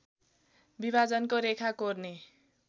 विभाजनको रेखा कोर्ने